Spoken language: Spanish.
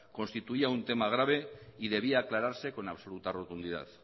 constituía un tema grave y debía aclararse con absoluta rotundidad